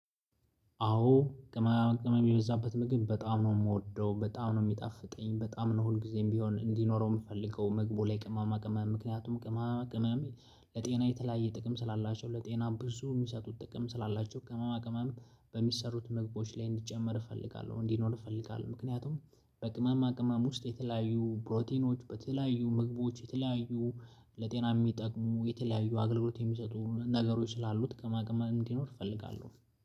አዎ ቅመማ ቅመመ የበዛበት ምግብ በጣም ነው የምወደው በጣም ነው የሚጣፍጠኝ በጣም ነው ሁልጊዜም ቢሆን እንዲኖረው የምፈልገው መግቦ ላይ ቅማማ ቅማሚ ምክንያቱም ቅማማ ቅማሚ ለጤና የተለያየ ጥቅም ስላላቸው ለጤና ብዙ የሚሰጡት ጥቅም ስላላቸው ቅመማ ቅመም በሚሰሩት ምግቦቶች ላይ እንዲጨመር እፈልጋለሁ። እንዲኖር እፈልጋለሁ ምክንያቱም በቅማማ ቅማም ውስጥ የተለያዩ ፕሮቲኖች በተለያዩ ምግቦች የተለያዩ ለጤና የሚጠቅሙ የተለያዩ አገልግሎት የሚሰጡ ነገሮች ስላሉት ከማግን እንዲኖር እፈልጋለሁ።